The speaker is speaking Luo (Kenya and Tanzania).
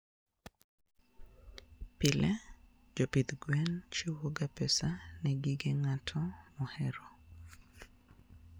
Pile, jopith mag gwen chiwoga pesa ne gige ng'ato mohero.